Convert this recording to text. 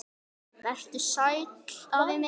Vertu sæll, afi minn.